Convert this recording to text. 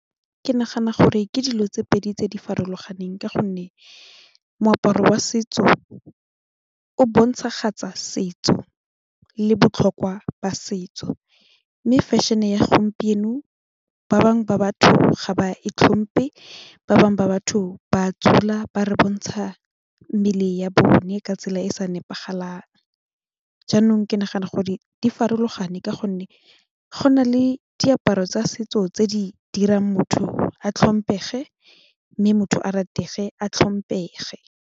Ke nagana gore ke dilo tse pedi tse di farologaneng ka gonne moaparo wa setso o bontshagatsa setso le botlhokwa ba setso mme fashion-e ya gompieno ba bangwe ba batho ga ba e tlhompe ba bangwe ba batho ba dula ba re bontsha mmele ya bone ka tsela e e sa nepagalang jaanong ke ne ke nagana ke gore di farologane ka gonne go na le diaparo tsa setso tse di dirang motho a tlhomphege mme motho a ratege a tlhomphege.